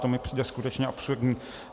To mi přijde skutečně absurdní.